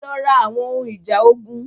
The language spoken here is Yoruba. Ẹ lọ ra àwọn ohun ìjà ogun.